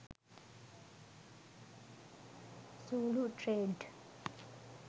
zulu trade